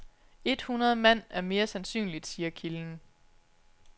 Et hundrede mand er mere sandsynligt, siger kilden.